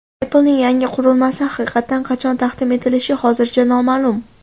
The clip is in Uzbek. Apple’ning yangi qurilmasi haqiqatan qachon taqdim etilishi hozircha noma’lum.